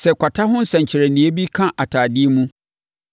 “Sɛ kwata ho nsɛnkyerɛnneɛ bi ka atadeɛ mu